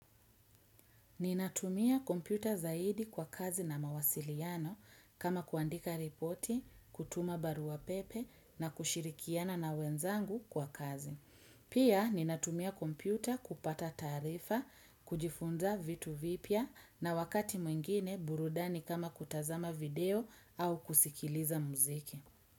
Ninatumia kompyuta zaidi kwa kazi na mawasiliano kama kuandika ripoti, kutuma barua pepe na kushirikiana na wenzangu kwa kazi. Pia ninatumia kompyuta kupata taarifa, kujifunza vitu vipya na wakati mwingine burudani kama kutazama video au kusikiliza muziki.